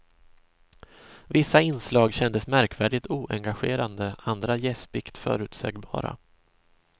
Vissa inslag kändes märkvärdigt oengagerande, andra gäspigt förutsägbara.